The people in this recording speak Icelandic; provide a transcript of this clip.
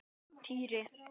Týri!